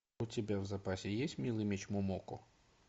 у тебя в запасе есть милый меч момоко